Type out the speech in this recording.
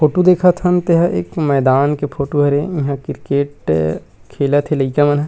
photo दिखत हन तेहा एक मैदान के फोटू हरे इहाँ क्रिकेट खेलत हे लइका मन ह--